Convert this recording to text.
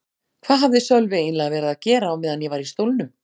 Hvað hafði Sölvi eiginlega verið að gera á meðan ég var í stólnum?